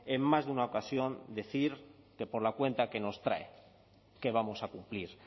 en más de una ocasión decir que por la cuenta que nos trae que vamos a cumplir